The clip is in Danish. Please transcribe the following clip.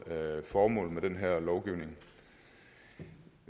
formålet med den her lovgivning